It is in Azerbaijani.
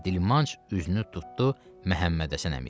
Və dilmanc üzünü tutdu Məhəmmədhəsən əmiyə.